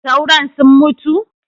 Sauron sun mutu